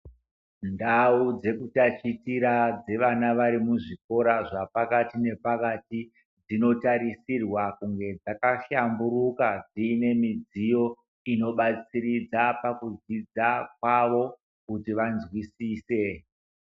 Ndau dzekutatichira dzevana vari muzvikora zvepakati nepakati dzinotarisirwa kunge dzakahlamburuka dziine midziyo inobatsiridza pakufunda kwavo kuti vanzwisise.